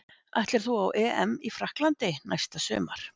Ætlar þú á EM í Frakklandi næsta sumar?